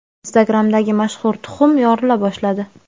Instagram’dagi mashhur tuxum yorila boshladi.